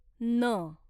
न